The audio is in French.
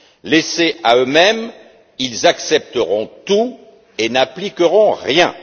Laissés à eux mêmes, ils accepteront tout et n'appliqueront rien.